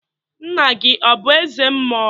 Nna gi ọ bụ eze mmụọ?